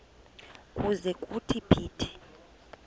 ukuze kuthi phithi